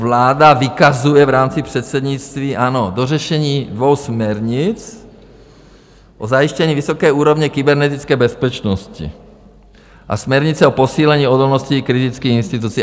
Vláda vykazuje v rámci předsednictví, ano, dořešení dvou směrnic - o zajištění vysoké úrovně kybernetické bezpečnosti a směrnice o posílení odolnosti kritických institucí.